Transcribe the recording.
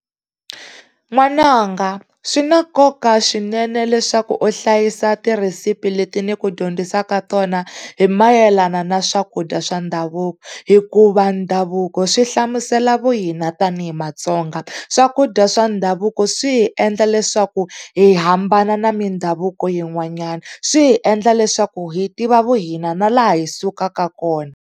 N'wananga swi na nkoka swinene leswaku u hlayisa tirhesipi leti ni ku dyondzisaka tona hi mayelana na swakudya swa ndhavuko, hikuva ndhavuko swi hlamusela vuhina tanihi Matsonga. Swakudya swa ndhavuko swi hi endla leswaku hi hambana na mindhavuko yin'wanyani, swi hi endla leswaku hi tiva vuhina na laha hi sukaka kona.